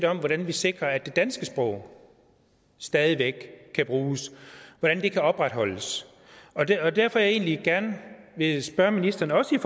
om hvordan vi sikrer at det danske sprog stadig væk kan bruges hvordan det kan opretholdes og det er derfor jeg egentlig gerne vil spørge ministeren også i